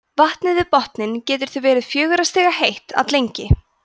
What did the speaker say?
vatnið við botninn getur því verið fjögurra stiga heitt alllengi